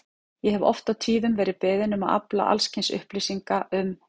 Ég hef oft og tíðum verið beðinn um að afla alls kyns upplýsinga um